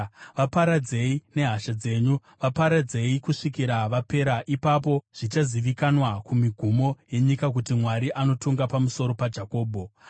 vaparadzei nehasha dzenyu, vaparadzei kusvikira vapera. Ipapo zvichazivikanwa kumigumo yenyika kuti Mwari anotonga pamusoro paJakobho. Sera